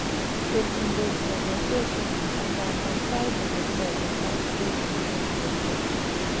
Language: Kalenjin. terchindos kanyaisosiek, angandan sait agei koboto back braces ak yenyet